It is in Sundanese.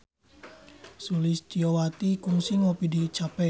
Sulistyowati kungsi ngopi di cafe